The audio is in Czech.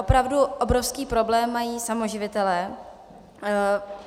Opravdu obrovský problém mají samoživitelé.